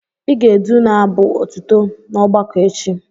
Ị ga-edu n'abụ otuto n'ọgbakọ echi!